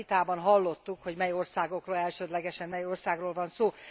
Ebben a vitában hallottuk, hogy mely országokról, elsődlegesen mely országról van szó.